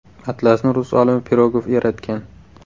Atlasni rus olimi Pirogov yaratgan.